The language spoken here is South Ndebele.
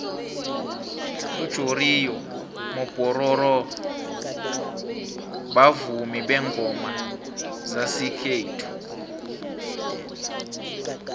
ujoriyo mopororo bavumi bengoma zesikllethu